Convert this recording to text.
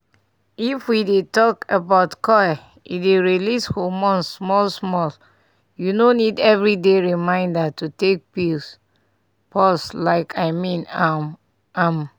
if we dey talk about coil e dey release hormones small small u no need every day reminder to take pill pause like i mean um am